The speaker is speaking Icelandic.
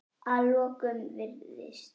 Að lokum virðist